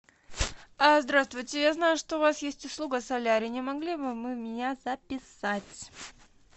а здравствуйте я знаю что у вас есть услуга солярий не могли бы вы меня записать